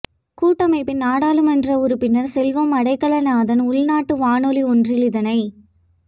கூட்டமைப்பின் நாடாளுமன்ற உறுப்பினர் செல்வம் அடைக்கலநாதன் உள்நாட்டு வானொலி ஒன்றில் இதனை